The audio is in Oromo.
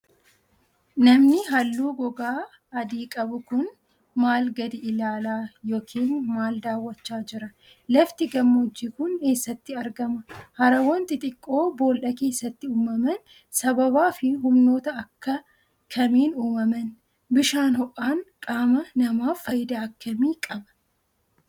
Namni haalluu gogaa adii qabu kun, maal gadi ilaalaa yokin maal daawwachaa jira? Lafti gammoojjii kun, eessatti argama? Harawwan xixiqqoo boolla keessatti uumaman ,sababaa fi humnoota akka kamiin uumaman? Bishaan ho'aan qaama namaaf, faayidaa akka kamii qaba?